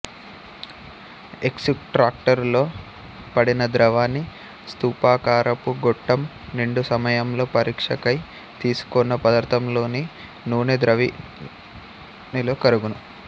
ఎక్సుట్రాక్టరులో పడినద్రావణి స్తుపాకారపు గొట్టంనిండుసమయంలో పరీక్షకై తీసుకున్న పదార్థంలోని నూనె ద్రావణిలో కరగును